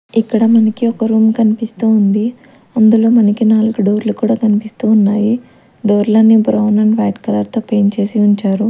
ఇక్కడ మనకి ఒక రూమ్ కనిపిస్తూ ఉంది అందులో మనకి నాలుగు డోర్ లు కూడా కనిపిస్తు ఉన్నాయి డోర్లు అన్నీ బ్రౌన్ అండ్ వైట్ కలర్ తో పెయింట్ చేసీ ఉంచారు.